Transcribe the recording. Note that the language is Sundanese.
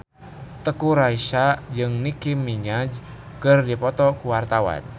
Teuku Rassya jeung Nicky Minaj keur dipoto ku wartawan